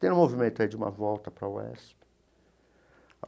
Tem um movimento aí de uma volta para a UESP.